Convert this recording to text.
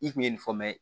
I kun ye nin fɔ mɛ